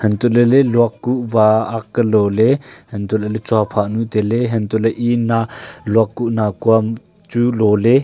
hantoh lahle luak kuh wa ak lo le hantoh lahle tsuaphah nu taile hantoh le e na luak kuh nakua am chu lole.